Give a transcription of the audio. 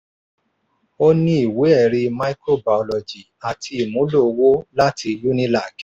ó ní ìwé-ẹ̀rí microbiology àti ìmúlò owó lati unilag.